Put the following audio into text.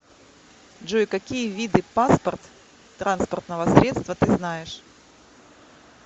джой какие виды паспорт транспортного средства ты знаешь